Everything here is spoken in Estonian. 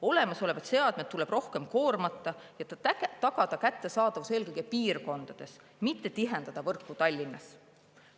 Olemasolevad seadmed tuleb rohkem koormata ja tagada kättesaadavus eelkõige piirkondades, mitte tihendada võrku Tallinnas.